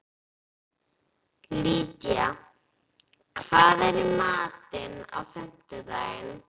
Lydía, hvað er í matinn á fimmtudaginn?